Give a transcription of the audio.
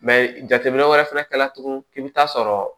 jateminɛ wɛrɛ fɛnɛ kɛra tugunni i bɛ taa sɔrɔ